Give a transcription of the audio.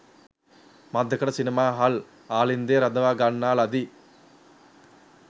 මඳකට සිනමාහල් ආලින්දයේ රඳවා ගන්නා ලදී